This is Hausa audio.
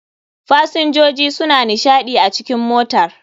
fasinjoji suna nishaɗi a cikn motar.